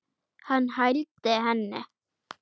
Hann hældi henni.